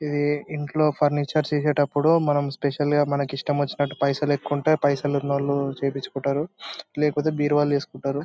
ఇది ఇంట్లో ఫర్నిచర్ చేసేటప్పుడు మనం స్పెషల్ గ మనకి ఇష్టమెచ్చినటు పైసల్ ఎక్కువుంటే పైసల్ ఉన్నోళ్ల చేపించుకుంటారు లేకపోతే బీరువా లో ఏసుకుంటారు.